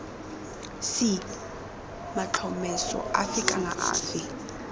c matlhomeso afe kana afe